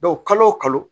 kalo o kalo